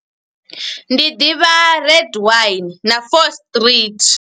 Ndi ḓivha red wine na Fourth Street.